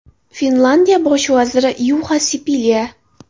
Finlyandiya bosh vaziri Yuxa Sipilya.